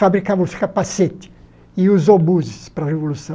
Fabricava os capacetes e os obuses para a Revolução.